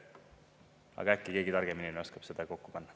Aga äkki keegi targem inimene oskab seda kokku panna.